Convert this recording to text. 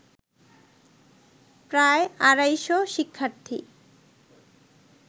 প্রায় আড়াইশ শিক্ষার্থী